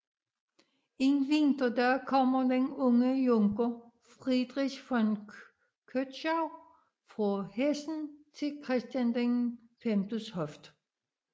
En vinterdag kommer den unge junker Friedrich von Kötschau fra Hessen til Christian Vs hof